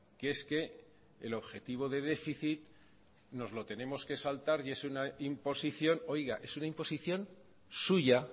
que es que el objetivo de déficit nos lo tenemos que saltar y es una imposición oiga es una imposición suya